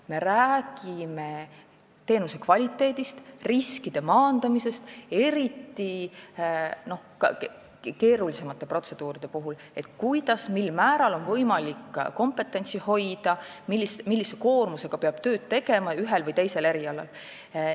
Me räägime teenuse kvaliteedist, riskide maandamisest, eriti keerulisemate protseduuride puhul, et kuidas, mil määral on võimalik kompetentsi hoida, millise koormusega peab ühel või teisel erialal tööd tegema.